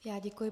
Já děkuji.